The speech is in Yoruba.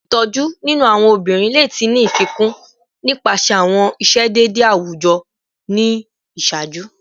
Itoju ninu awọn obinrin le ti ni fikun nipasẹ awọn iṣedede awujọ ni iṣaaju